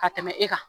Ka tɛmɛ e kan